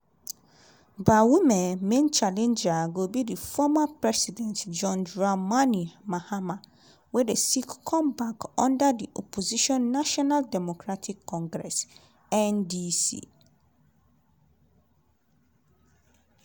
bawumia main challenger go be former president john dramani mahama wey dey seek comeback under di opposition national democratic congress (ndc).